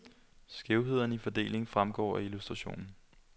Skævhederne i fordelingen fremgår af illustrationen.